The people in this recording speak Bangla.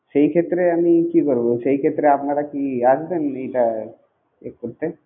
সেই ক্ষেত্রে আমি কি করবো? সেই ক্ষেত্রে আপনারা কি আসবেন এইটা এ করতে.